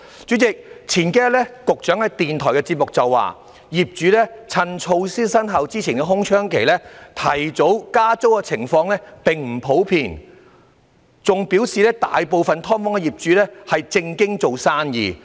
主席，數天前，局長在電台節目中表示，業主趁措施生效前的空窗期提早加租的情況並不普遍，更表示大部分"劏房"業主是"正經做生意"。